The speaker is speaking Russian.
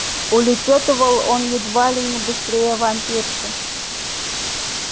улепётывал он едва ли не быстрее вампирши